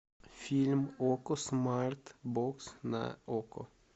фильм окко смарт бокс на окко